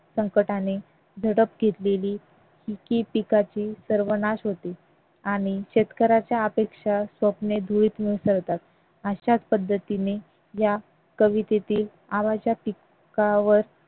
संकटाने झडप घेतलेली शेती पिकाची सर्वनाश होते आणि शेतकऱ्याच्या अपेक्षा स्वप्ने धुळीत मिसळतात अशाच पद्धतीने या कवितेतील पिकावर